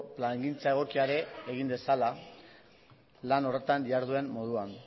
plangintza egokia ere egin dezala lan horretan diharduen moduan